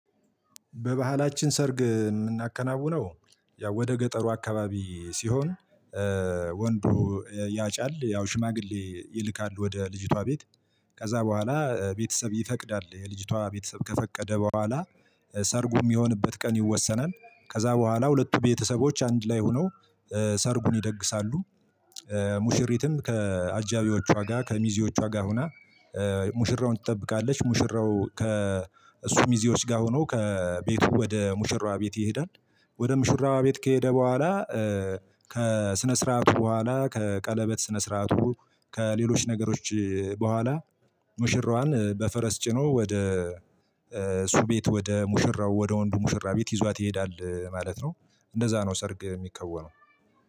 በባህላችን ሰርግ ምናከናውነው ያው ወደ ገጠሩ አካባቢ ሲሆን ወንዱ ያጫል ያው ሽማግሌ ይልካል ወደ ልጅቷ ቤት ከዛ በኋላ ቤተሰብ ይፈቅዳል የልጅቷ ቤተሰብ ከፈቀደ በኋላ ሰርጉ ሚሆንበት ቀን ይወሰናል ከዛ በኋላ ሁለቱ ቤተሰቦች አንድ ላይ ሆነው ሰርጉን ይደግሳሉ። ሙሽሪትም ከአጃቢዎቹዋጋ ከሚዜዎቹ ጋ ሆና ሙሽራውን ትጠብቃለች ሙሽራው ከ እሱ ሚዜዎች ጋር ሆኖ ከቤቱ ወደ ሙሽራዋ ቤት ይሄዳል። ወደ ሙሽራዋ ቤት ከሄደ በኋላ ከስነስርአቱ በሁዋላ ከቀለበት ስነስርአቱ ከሌሎች ነገሮች በሁዋላ ሙሽራዋን በፈረስ ጭኖ ወደ እሱ ቤት ወደ ሙሽራው ወደ ወንዱ ሙሽራ ቤት ይዟት ይሄዳል። ማለት ነው። እንደዛ ነው ሰርግ ሚከወነው።